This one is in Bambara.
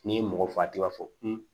N'i ye mɔgɔ faga i b'a fɔ